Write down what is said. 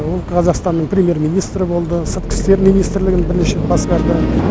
ол қазақстанның премьер министрі болды сыртқы істер министрлігін бірінші басқарды